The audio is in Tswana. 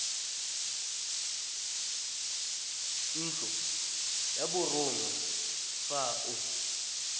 ntlo ya borongwa fa o